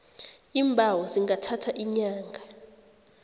iimbawo zingathatha iinyanga